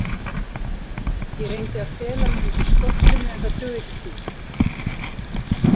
Ég reyndi að fela mig undir skottinu en það dugði ekki til.